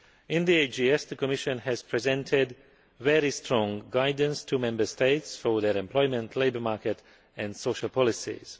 In the AGS, the Commission presented very strong guidance to Member States for their employment, labour market and social policies.